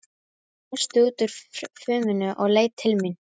Hann brosti út úr fuminu og leit til mín.